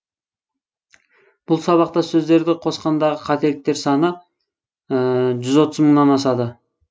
бұл сабақтас сөздерді қосқандағы қателіктер саны жүз отыз мыңнын асады